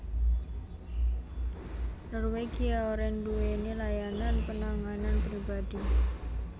Norwegian ora duwéni layanan penanganan pribadi